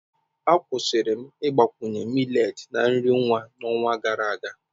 Akwụsịrị m ịgbakwunye millet na nri nwa n'ọnwa gara aga.